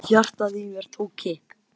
Hjartað í mér tók kipp.